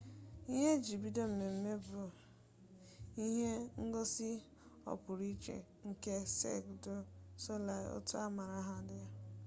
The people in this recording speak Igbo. ihe e ji bido mmemme bụ ihe ngosi ọpụrụiche nke sek du solei otu a maara aha ha n'ụwa dum mere